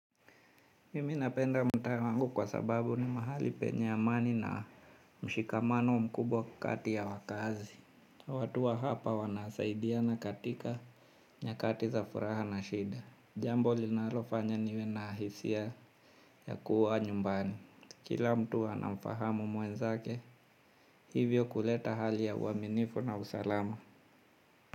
Mimi napenda mtaa wangu kwa sababu ni mahali penye amani na mshikamano mkubwa kati ya wakaazi. Watu wa hapa wanasaidia na katika nyakati za furaha na shida. Jambo linalofanya niwe na hisia ya kuwa nyumbani. Kila mtu anafahamu mwenzake hivyo kuleta hali ya uaminifu na usalama.